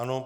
Ano.